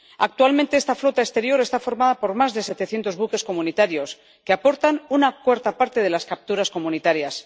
Actualmente esta flota exterior está formada por más de 700 buques comunitarios, que aportan una cuarta parte de las capturas comunitarias.